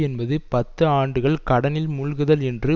என்பது பத்து ஆண்டுகள் கடனில் மூழ்குதல் என்று